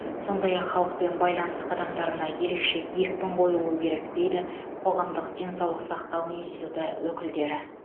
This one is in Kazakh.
сондай ақ халықпен байланыс қадамдарына ерекше екпін қойылуы керек дейді қоғамдық денсаулық сақтау институты өкілдері